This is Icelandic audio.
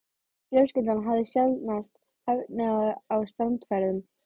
Fjölskyldan hafði sjaldnast efni á strandferðum.